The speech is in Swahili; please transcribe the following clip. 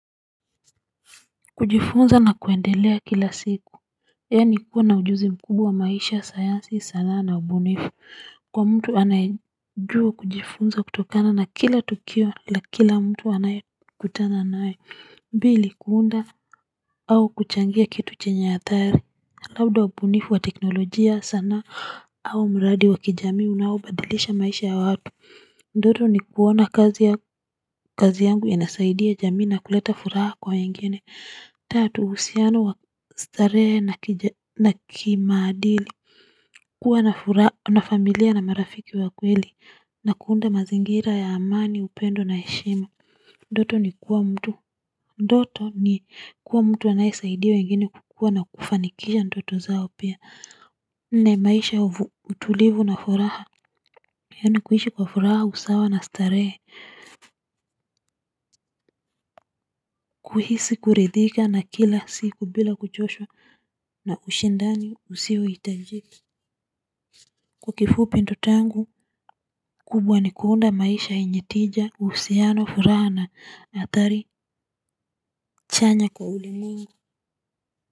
Kujifunza na kuendelea kila siku yani kukuwa ujuzi mkubwa wa maisha sayansi sanaa na ubunifu kwa mtu anayejua kujifunza kutokana na kila tukio la kila mtu anaye kutana nae mbili kuunda au kuchangia kitu chenye hatari labda ubunifu wa teknologia, sanaa au mradi wa kijamii unaobadilisha maisha ya watu ndoto ni kuona kazi ya kazi yangu yanasaidia jamii na kuleta furaha kwa wengine. Tatu usiano wa starehe na kimaadili. Kuwa na familia na marafiki wa kweli. Na kuunda mazingira ya amani, upendo na heshima. Ndoto ni kuwa mtu. Ndoto ni kuwa mtu anaesaidia wengine kukua na kufanikisha ntoto zao pia. Na maisha ya utulivu na furaha yani kuishi wa furaha, usawa na ustarehe. Kuhisi kuridhika na kila siku bila kuchoshwa na ushindani usiwe itajiki kwa kifupi ndoto yangu kubwa ni kuunda maisha yenye tija uhusiano furana atari chanya kwa ulimungu.